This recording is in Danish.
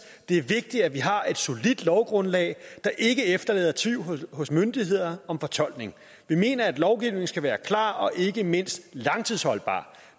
det er vigtigt at vi har et solidt lovgrundlag der ikke efterlader tvivl hos myndighederne om fortolkningen vi mener at lovgivningen skal være klar og ikke mindst langtidsholdbar